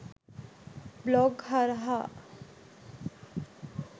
blog හරහා